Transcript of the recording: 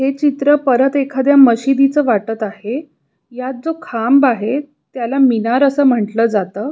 हे चित्र परत एखाद्या मशिदीच वाटत आहे यात जो खांब आहे त्याला मिनार अस म्हंटल जात.